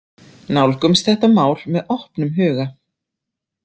Nálgumst þetta mál með opnum huga.